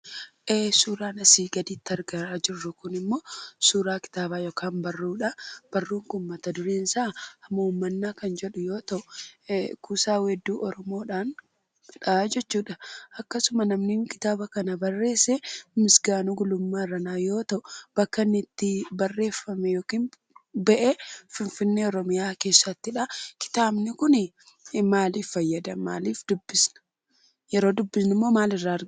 Suuraan asii gaditti argaa jirru kunimmoo suuraa kitaabaa yookaan barruudhaa. Barruun kun mat-dureen isaa "Hamuummannaa" kan jedhu yoo ta'u, kuusaa weedduu oromoodhaa jechuudha akkasuma namni kitaaba kana barreesse, Misgaanoo Gulummaa Irranaa yoo ta'u bakka inni itti barreeffamee bahe finfinnee oromiyaa keessattidha. Kitaabni kun maaliif fayyada? Maaliif dubbifna? Yeroo dubbifnummoo maal irraa argannaa?